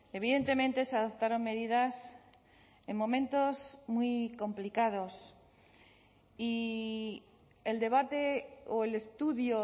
evidentemente se adoptaron medidas en momentos muy complicados y el debate o el estudio